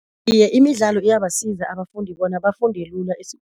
Iye imidlalo iyabasiza abafundi bona bafunde lula